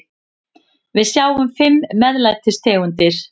Við sjáum fimm MEÐLÆTIS tegundir.